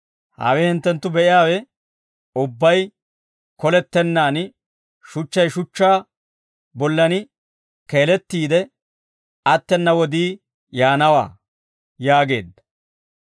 «Hawe hinttenttu be'iyaawe ubbay kolettennaan, shuchchay shuchchaa bollan keelettiide attena wodii yaanawaa» yaageedda.